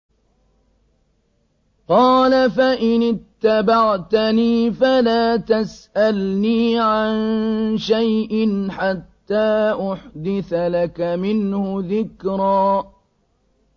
قَالَ فَإِنِ اتَّبَعْتَنِي فَلَا تَسْأَلْنِي عَن شَيْءٍ حَتَّىٰ أُحْدِثَ لَكَ مِنْهُ ذِكْرًا